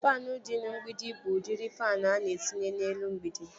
Faanụ dị n'mgbidi bụ udiri faanụ ana etinye n'elu mgbidi